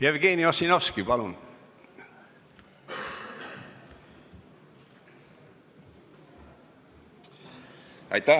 Jevgeni Ossinovski, palun!